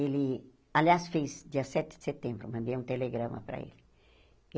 Ele, aliás, fez dia sete de setembro, mandei um telegrama para ele.